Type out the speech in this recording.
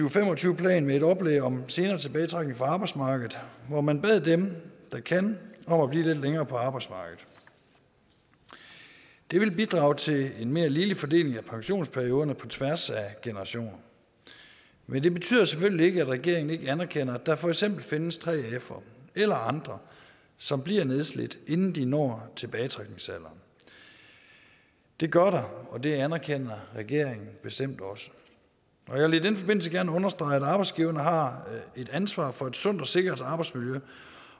og fem og tyve plan med et oplæg om senere tilbagetrækning fra arbejdsmarkedet hvor man bad dem der kan om at blive lidt længere på arbejdsmarkedet det vil bidrage til en mere ligelig fordeling af pensionsperioder på tværs af generationer men det betyder selvfølgelig ikke at regeringen ikke anerkender at der for eksempel findes 3fere eller andre som bliver nedslidt inden de når tilbagetrækningsalderen det gør der og det anerkender regeringen bestemt også jeg vil i den forbindelse gerne understrege at arbejdsgiverne har et ansvar for et sundt og sikkert arbejdsmiljø